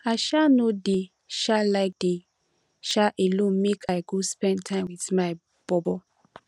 i um no dey um like dey um alone make i go spend time wit my bobo